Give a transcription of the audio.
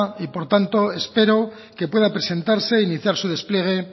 y por tanto espero que pueda presentarse e iniciar su despliegue